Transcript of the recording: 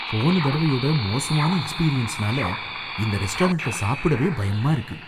போன தடவையோட மோசமான எக்ஸ்பீரியன்ஸ்னால இந்த ரெஸ்டாரண்ட்ல சாப்பிடவே பயமா இருக்கு.